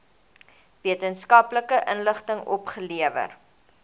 wetenskaplike inligting opgelewer